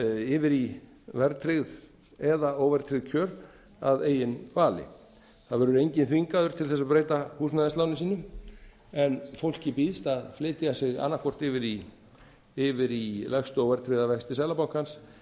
yfir í verðtryggð eða óverðtryggð kjör að eigin vali það verður enginn þvingaður til þess að breyta húsnæðisláni sínu en fólki býðst að flytja sig annað hvort yfir í lægstu óverðtryggða vexti seðlabankans